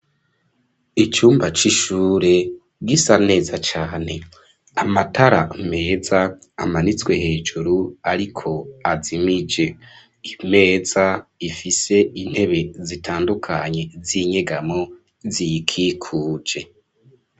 Icumba c'ishure gisa neza cane, amatara meza amanitswe hejuru ariko azimije, imeza ifise intebe zitandukanye z'inyegamo ziyikikuje.